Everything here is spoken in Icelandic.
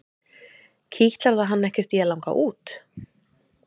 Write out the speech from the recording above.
Kitlar það hann ekkert í að langa út?